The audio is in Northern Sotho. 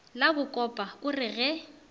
la bakopa o re ge